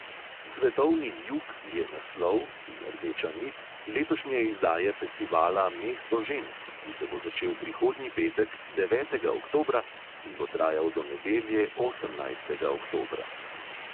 Svetovni jug je naslov (in rdeča nit) letošnje izdaje festivala mesto žensk, ki se bo začel prihodnji petek, devetega oktobra, in bo trajal do nedelje, osemnajstega oktobra.